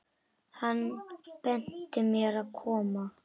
Hann benti mér að koma?